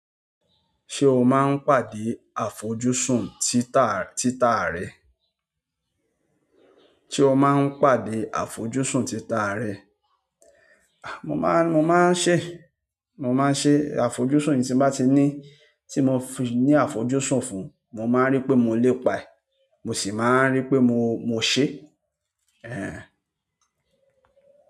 Ṣé o máa ń pàdé àfojúsùn títa, títa rẹ? Sé o máa ń pàdé àfojúsùn títa rẹ? Mo má, mo máa ń ṣe, mo máa ń ṣe àfojúsùn yín tí mo bá ti ní, tí mo fi ní àfojúsùn fún, mo máa ń rí pé mo lépa ẹ, mo sì máa ń rí pé mo, mo ṣe. Ehn.